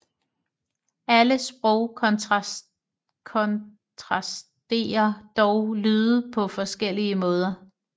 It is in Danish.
Alle sprog kontrasterer dog lyde på forskellige måder